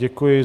Děkuji.